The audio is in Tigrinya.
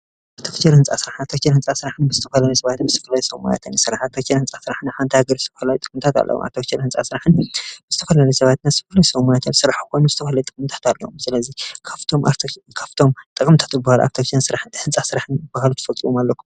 ኣርተፍከር ሕንፃ ሥርሓ ተከል ሕንፃ ሥራሕን ብዝተፈለሊ ሰባት ምዝስፍለ ይሶውማያተኒ ሥራሓ ተከን ሕንፃ ሥራሕን ሓንታይ ገር ሥውሕልይ ጥቕንታትለዉም ኣብተክሸር ሕንፃ ሥራሕን ብስተፈለሊ ሰባትን ሥፍርንሰዉማያትል ሥራሕ ኾኑ ዝተዂለ ጥምንታታልእዮም ስለዙይ ካፍቶም ካፍቶም ጠቕምታቱብሃል ኣብ ተክሐን ሥራሕን ሕንፃሥራሕን ብሃሉት ፈጥኡም ኣለኩም።